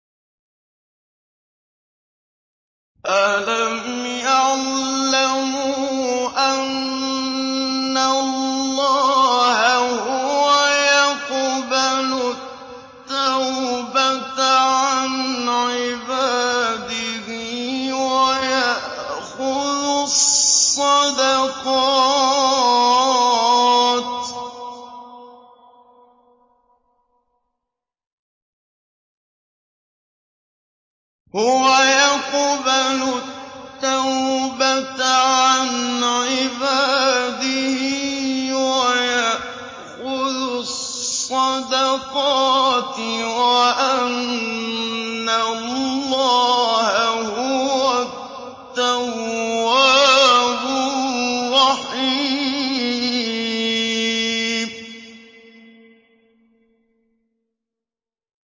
أَلَمْ يَعْلَمُوا أَنَّ اللَّهَ هُوَ يَقْبَلُ التَّوْبَةَ عَنْ عِبَادِهِ وَيَأْخُذُ الصَّدَقَاتِ وَأَنَّ اللَّهَ هُوَ التَّوَّابُ الرَّحِيمُ